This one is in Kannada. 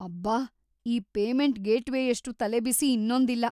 ಅಬ್ಬಾ, ಈ ಪೇಮೆಂಟ್‌ ಗೇಟ್‌ವೇಯಷ್ಟು ತಲೆಬಿಸಿ ಇನ್ನೊಂದಿಲ್ಲ.